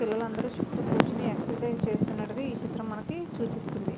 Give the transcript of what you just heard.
పిలలు అదరు చుట్టు కోరుచొని ఎక్సర్సిస్ చేస్త్తునాటు కనిపెస్తునది.